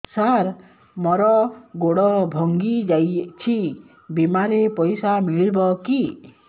ସାର ମର ଗୋଡ ଭଙ୍ଗି ଯାଇ ଛି ବିମାରେ ପଇସା ମିଳିବ କି